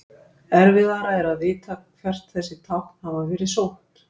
Erfiðara er að vita hvert þessi tákn hafa verið sótt.